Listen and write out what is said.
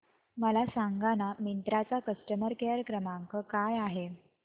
मला सांगाना मिंत्रा चा कस्टमर केअर क्रमांक काय आहे